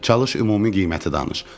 Çalış ümumi qiyməti danış.